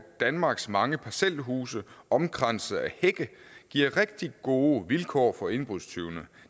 danmarks mange parcelhuse omkranset af hække giver rigtig gode vilkår for indbrudstyvene